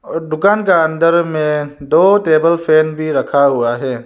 और दुकान के अंदर में दो टेबल फैन भी रखा हुआ है।